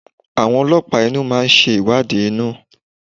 Àwọn ọlọ́pàá inú máa ńṣe ìwádìí inú